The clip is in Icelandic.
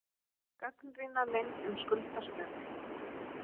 Gagnrýna leynd um skuldastöðu